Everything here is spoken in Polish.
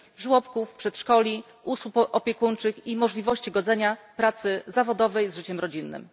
żłobków, przedszkoli, usług opiekuńczych i możliwości godzenia pracy zawodowej z życiem rodzinnym.